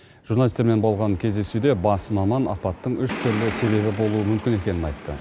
журналистермен болған кездесуде бас маман апаттың үш түрлі себебі болуы мүмкін екенін айтты